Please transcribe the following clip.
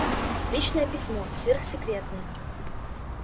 личное письмо сверхсекретное